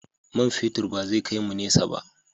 Man fetur ba zai kai mu nesa ba.